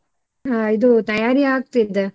ಹಾ ಇದು ತಯಾರಿ ಆಗ್ತಿದೆ.